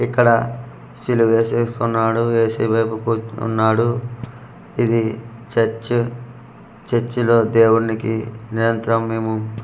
ఇక్కడ సీలువు ఏసేసుకున్నాడు ఎసయ్య బాబు కొ వున్నాడు ఇది చర్చ చర్చి లో దేవునికి నిరంతరం మేము .